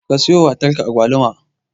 Ka siyowa matarka Agwaluma.